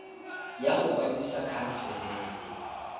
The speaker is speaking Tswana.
ya go kwadisa khansele e